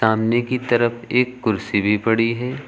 सामने की तरफ एक कुर्सी भी पड़ी है।